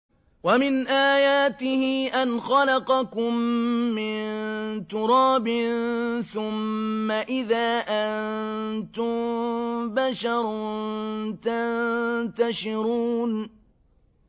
وَمِنْ آيَاتِهِ أَنْ خَلَقَكُم مِّن تُرَابٍ ثُمَّ إِذَا أَنتُم بَشَرٌ تَنتَشِرُونَ